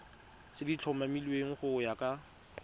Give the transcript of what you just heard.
tse di tlhomilweng go ya